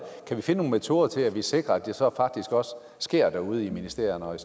kan vi finde nogle metoder til at sikre at det så faktisk også sker derude i ministerierne og